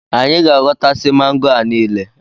Anyị ga-ahọta si mango a niile